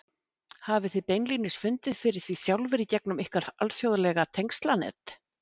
Hafið þið beinlínis fundið fyrir því sjálfir í gegnum ykkar alþjóðlega tengslanet?